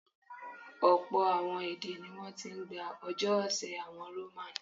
Ọ̀pọ̀ àwọn èdè ní wọ́n ti ń gbà ọjọ́ ọ̀sẹ̀ àwọn Roman.